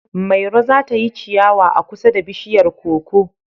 Mairo za ta yi ciyawa a kusa da bishiyar koko